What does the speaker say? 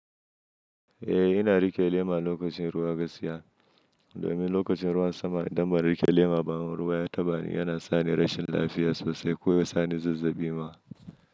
Eh, ina riƙe lema lokacin ruwa gaskiya domin lokacin ruwan sama idan ban riƙe lema ba, ruwa ya taɓani yana sani rashin lafiya sosai ko ya sani zazzaɓi ma.